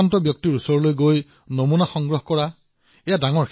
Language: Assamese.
সংক্ৰমিত ৰোগীসকলৰ মাজত যোৱা তেওঁলোকৰ নমুনা লোৱাটো এক সেৱা